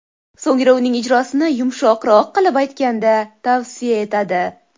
So‘ngra uning ijrosini, yumshoqroq qilib aytganda, tavsiya etadi.